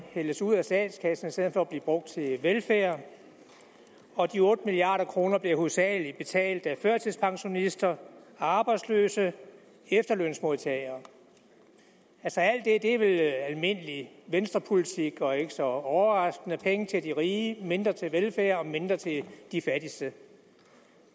hældes ud af statskassen i stedet for at blive brugt til velfærd og de otte milliard kroner bliver hovedsageligt betalt af førtidspensionister arbejdsløse efterlønsmodtagere altså alt det er vel almindelig venstrepolitik og ikke så overraskende penge til de rige mindre til velfærd mindre til de fattigste